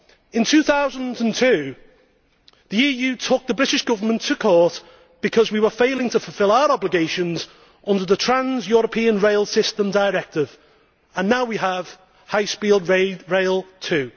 In 2002 the EU took the British Government to court because we were failing to fulfil our obligations under the Trans European rail system Directive and now we have High Speed Rail 2